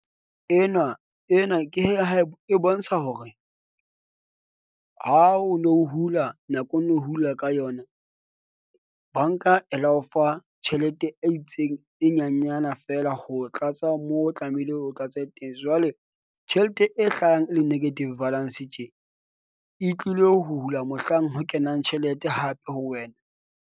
Enwa ena ke ha e bontsha hore, ha o no hula nako, o no hula ka yona. Bank-a e la o fa tjhelete e itseng e nyenyana feela. Ho tlatsa moo o tlamehile o tlatse teng. Jwale tjhelete e hlahang e le negative balance tje. E tlile ho hula, mohlang ho kenang tjhelete hape ho wena.